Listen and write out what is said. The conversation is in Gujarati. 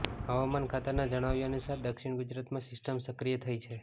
હવામાન ખાતાના જણાવ્યાનુસાર દક્ષિણ ગુજરાતમાં સિસ્ટમ સક્રિય થઈ છે